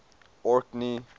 orkney